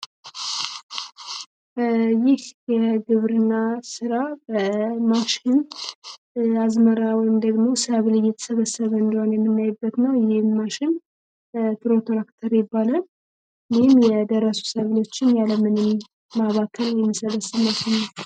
ይህ የግብርና ስራ በማሽን የደረሱ አዝመራዎችን ወይም ደግሞ የተሰበሰበ መሆን የምናይበት ነው ይባላል ይህም የደረሱ ሰብሎችን ያለምንም ማባከን የምንሰበስብበት ነው።